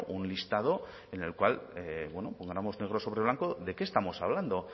un listado en el cual pongamos negro sobre blanco de qué estamos hablando